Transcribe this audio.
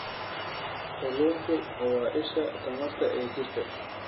Kalluunku waa isha tamarta ee jirka.